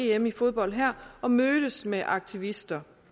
em i fodbold her og mødtes med aktivister